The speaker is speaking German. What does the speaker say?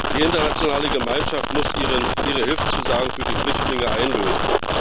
Die internationale Gemeinschaft muss ihre Hilfszusagen für die Flüchtlinge einlösen.